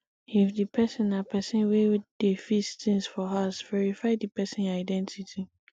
if di person na person wey dey fis things for house verify di person identity